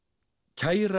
kæra